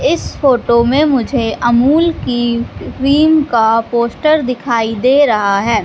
इस फोटो में मुझे अमूल की क्रीम का पोस्टर दिखाई दे रहा है।